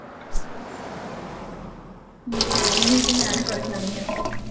ഉം അയ് News ഞാനും കൊറച്ചറിഞ്ഞു